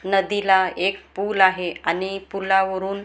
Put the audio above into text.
नदीला एक पूल आहे आणि पुलावरून मस्त--